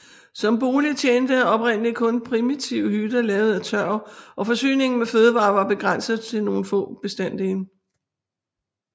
Som bolig tjente oprindeligt kun primitive hytter lavet af tørv og forsyningen med fødevarer var begrænset til nogle få bestanddele